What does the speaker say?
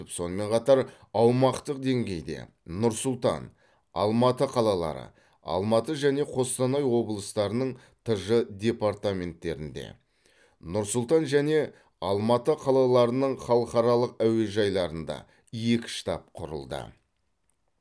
сонымен қатар аумақтық деңгейде нұр сұлтан алматы қалалары алматы және қостанай облыстарының тж департаменттерінде нұр сұлтан және алматы қалаларының халықаралық әуежайларында екі штаб құрылды